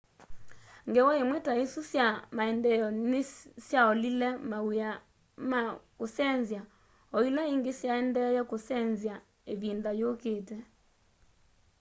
ngewa imwe ta isu sya maendeeo nisyaolile mawia ma kusenzya o ila ingi syaendee kusenzya ivinda yukite